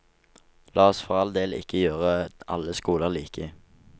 La oss for all del ikke gjøre alle skoler like.